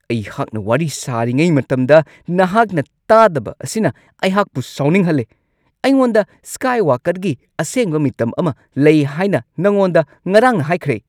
ꯑꯩꯍꯥꯛꯅ ꯋꯥꯔꯤ ꯁꯥꯔꯤꯉꯩ ꯃꯇꯝꯗ ꯅꯍꯥꯛꯅ ꯇꯥꯗꯕ ꯑꯁꯤꯅ ꯑꯩꯍꯥꯛꯄꯨ ꯁꯥꯎꯅꯤꯡꯍꯜꯂꯤ ꯫ ꯑꯩꯉꯣꯟꯗ ꯁ꯭ꯀꯥꯏꯋꯥꯀꯔꯒꯤ ꯑꯁꯦꯡꯕ ꯃꯤꯇꯝ ꯑꯃ ꯂꯩ ꯍꯥꯏꯅ ꯅꯉꯣꯟꯗ ꯉꯔꯥꯡꯅ ꯍꯥꯏꯈ꯭ꯔꯦ ꯫ (ꯃꯔꯨꯞ ꯲)